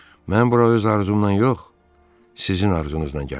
Mən bura öz arzumla yox, sizin arzunuzla gəlmişəm.